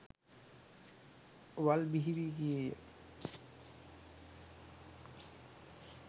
වල් බිහි වී ගියේය.